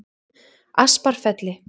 Asparfelli